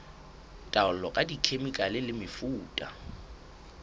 taolo ka dikhemikhale le mefuta